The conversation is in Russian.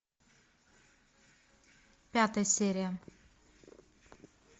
пятая серия